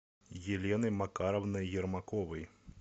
елены макаровны ермаковой